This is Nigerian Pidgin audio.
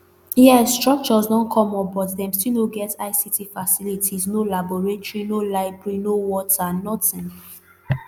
yes structures don come up but dem still no get ict facilities no laboratory no library no water nothing